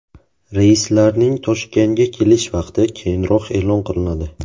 Reyslarning Toshkentga kelish vaqti keyinroq e’lon qilinadi.